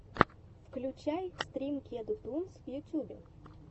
включай стрим кеду тунс в ютьюбе